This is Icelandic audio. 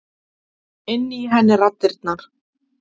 Inni í henni raddirnar.